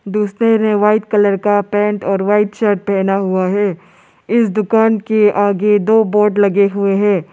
दुसरे ने white colour का पेंट और व्हाइट शर्ट पहना हुआ है इस दुकान के आगे दो बोर्ड लगे हुए हैं।